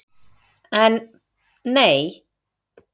En. nei.